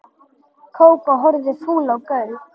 Kókó horfði fúl á Gauk.